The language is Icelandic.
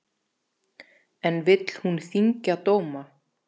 En vill hún þyngja dóma?